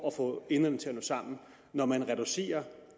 at få enderne til at nå sammen når man reducerer